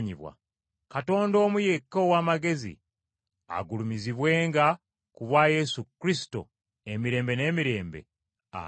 Katonda omu yekka ow’amagezi, agulumizibwenga ku bwa Yesu Kristo, emirembe n’emirembe. Amiina.